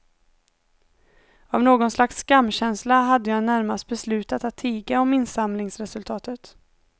Av någon slags skamkänsla hade jag närmast beslutat att tiga om insamlingsresultatet.